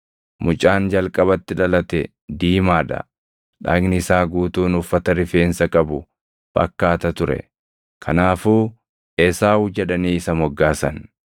Mucaan jalqabatti dhalate diimaa dha; dhagni isaa guutuun uffata rifeensa qabu fakkaata ture; kanaafuu Esaawu jedhanii isa moggaasan.